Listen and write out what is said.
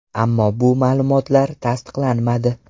Ammo bu ma’lumotlar tasdiqlanmadi.